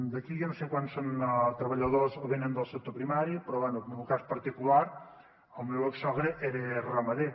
d’aquí jo no sé quants són treballadors o venen del sector primari però bé en el meu cas particular el meu exsogre era ramader